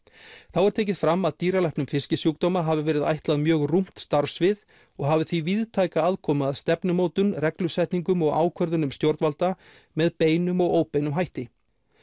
þá er tekið fram að dýralæknum fiskisjúkdóma hafi verið ætlað mjög rúmt starfssvið og hafi því víðtæka aðkomu að stefnumótun reglusetningum og ákvörðunum stjórnvalda með beinum og óbeinum hætti